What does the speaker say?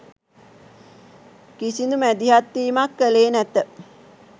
කිසිදු මැදිහත්වීමක් කළේ නැත.